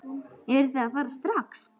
Eruð þið að fara strax?